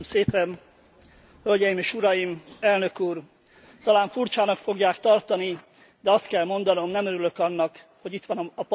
Elnök Úr, talán furcsának fogják tartani, de azt kell mondanom, nem örülök annak, hogy itt van a Parlamentben a magyar miniszterelnök.